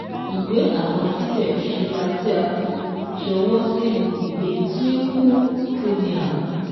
Ìwé àkọsílẹ̀ ìṣura tí a fi ṣọwọ́ sínú ìwé Twinkle Punia